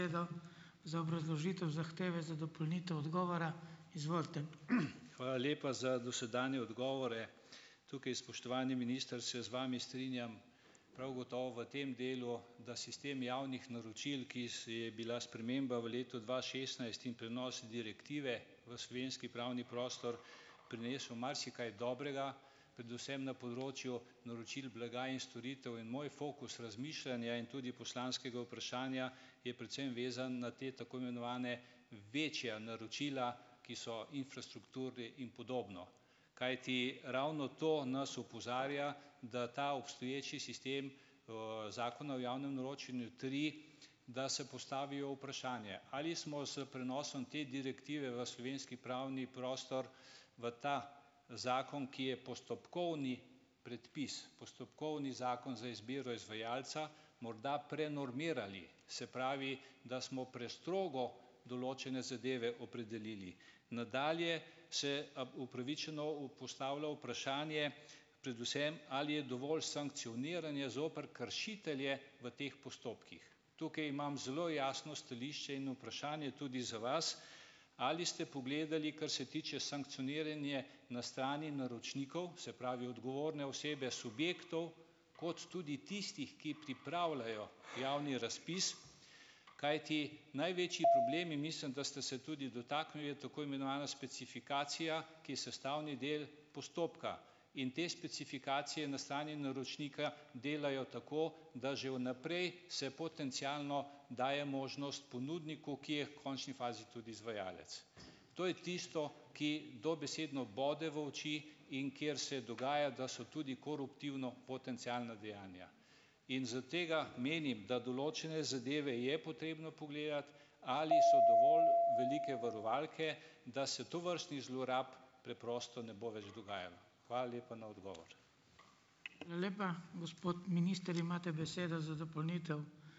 Hvala lepa za dosedanje odgovore. Tukaj, spoštovani minister, se z vami strinjam prav gotovo v tem delu, da sistem javnih naročil, ki se je bila sprememba v letu dva šestnajst in prenos direktive v slovenski pravni prostor, prinesel marsikaj dobrega, predvsem na področju naročil blaga in storitev, in moj fokus razmišljanja in tudi poslanskega vprašanja je predvsem vezan na te, tako imenovane, večja naročila, ki so infrastrukture in podobno, kajti ravno to nas opozarja, da ta obstoječi sistem, Zakona o javnem naročanju tri, da se postavijo vprašanje - ali smo s prenosom te direktive v slovenski pravni prostor, v ta zakon, ki je postopkovni predpis, postopkovni zakon za izbiro izvajalca, morda prenormirali. Se pravi, da smo prestrogo določene zadeve opredelili. Nadalje se upravičeno postavlja vprašanje, predvsem ali je dovolj sankcioniranja zoper kršitelje v teh postopkih. Tukaj imam zelo jasno stališče in vprašanje tudi za vas, ali ste pogledali, kar se tiče sankcioniranje na strani naročnikov, se pravi odgovorne osebe subjektov, kot tudi tistih, ki pripravljajo javni razpis? Kajti največji problem - in mislim, da ste se tudi dotaknili - je tako imenovana specifikacija, ki je sestavni del postopka in te specifikacije na strani naročnika delajo tako, da že vnaprej se potencialno daje možnost ponudniku, ki je v končni fazi tudi izvajalec. To je tisto, ki dobesedno bode v oči in kjer se dogaja, da so tudi koruptivno potencialna dejanja, in zaradi tega menim, da določene zadeve je potrebno pogledati, ali so dovolj velike varovalke, da se tovrstnih zlorab preprosto ne bo več dogajalo. Hvala lepa na odgovor.